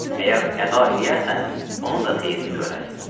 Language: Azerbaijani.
Əgər əda eləyərsən, onun da xeyrini görərsən.